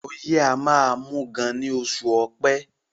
Ọyẹ́ máá ń mú gan ní oṣù ọpẹ́